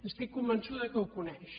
estic convençuda que ho coneix